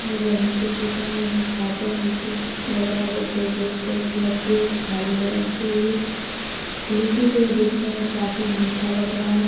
जो गर्मी के सीजन में हम लोग खाते हैं लीची लग रहा हैं जैसे रेड रेड कलर की एक थाली में रखी हुई है। लीची जो है देखने मैं काफी मीठा लग रहा है।